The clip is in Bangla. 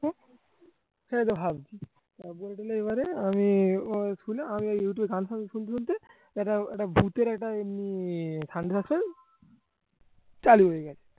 এবারে আমি আমি ইউটিউব এ গান টান শুনতে শুনতে এটা একটা ভুতের একটা চালু হয়ে যায়